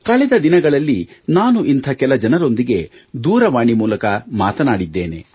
ಕಳೆದ ದಿನಗಳಲ್ಲಿ ನಾನು ಇಂಥ ಕೆಲ ಜನರೊಂದಿಗೆ ದೂರವಾಣಿ ಮೂಲಕ ಮಾತನಾಡಿದ್ದೇನೆ